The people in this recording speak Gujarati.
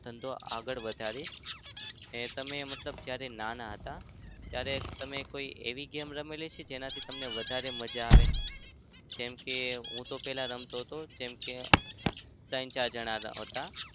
ધંધો આગળ વધારીશ એ તમે મતલબ તમે જ્યારે નાના હતા ત્યારે તમે કોઈ એવી game રમેલી છે જેનાથી તમને વધારે મજા આવે? જેમ કે હું તો પેલા રમતો હતો જેમ કે ત્રણ-ચાર જણા હતા.